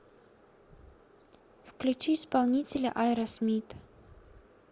включи исполнителя аэросмит